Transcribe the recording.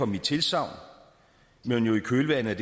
mit tilsagn men i kølvandet